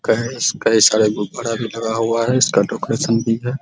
काहे काहे सारा गुफड़ आर भी लगा हुआ है इसका डोकरेशन भी है ।